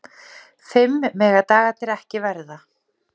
Fimm mega dagarnir ekki verða.